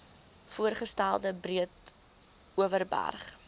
voorgestelde breedeoverberg oba